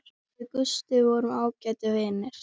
Við Gústi vorum ágætir vinir.